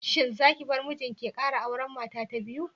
Shin zaki bar mijinki ya kara auri mata ta biyu?